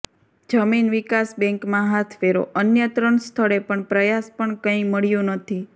જમીન વિકાસ બેન્કમાં હાથ ફેરોઃ અન્ય ત્રણ સ્થળે પણ પ્રયાસ પણ કંઇ મળ્યું નહી